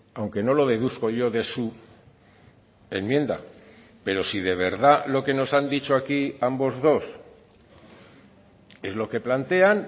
aunque no lo deduzco yo de su enmienda pero si de verdad lo que nos han dicho aquí ambos dos es lo que plantean